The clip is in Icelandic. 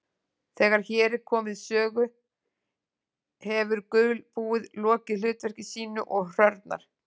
Þegar hér er komið sögu hefur gulbúið lokið hlutverki sínu og hrörnar.